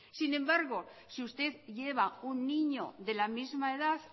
sin embargo si usted lleva un niño de la misma edad